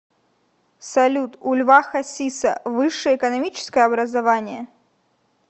салют у льва хасиса высшее экономическое образование